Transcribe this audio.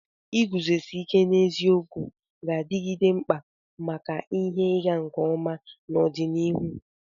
Iguzosi ike n'eziokwu ga-adigide mkpa maka ihe ịga nke ọma n'ọdịnihu.